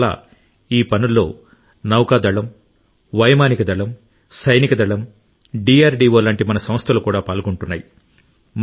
అందువల్ల ఈ పనుల్లో నౌకాదళం వైమానిక దళం సైనిక దళం డిఆర్డిఓ లాంటి మన సంస్థలు కూడా పాల్గొంటున్నాయి